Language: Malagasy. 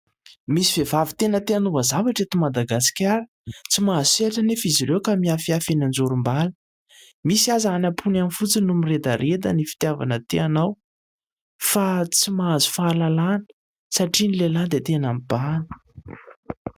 Misy vehivavy tena te hanova zavatra eto Madagasikara. Tsy mahazo sehatra anefa izy ireo ka mihafihafy eny an-jorom-bala. Misy aza any am-pony any fotsiny no miredareda ny fitiavana te hanao, fa tsy mahazo fahalalahana satria ny lehilahy dia tena mibahana.